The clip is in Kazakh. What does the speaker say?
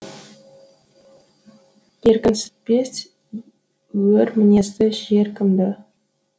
еркінсітпес өр мінезді жер кімді